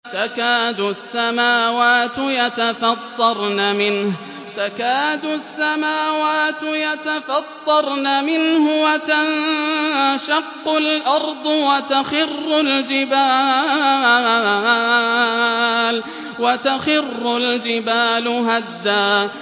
تَكَادُ السَّمَاوَاتُ يَتَفَطَّرْنَ مِنْهُ وَتَنشَقُّ الْأَرْضُ وَتَخِرُّ الْجِبَالُ هَدًّا